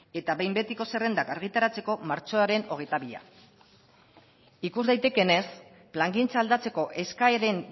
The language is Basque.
eta behin betiko zerrendak argitaratzeko martxoaren hogeita bia ikus daitekeenez plangintza aldatzeko eskaeren